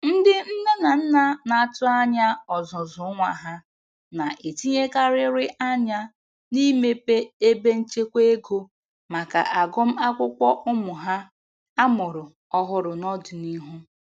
Ndị nne na nna na-atụ anya ọzụzụ nwa ha na-etinyekarịrị anya n'imepe ebe nchekwa ego maka agụmakwụkwọ ụmụ ha amụrụ ọhụrụ n'ọdịnihu.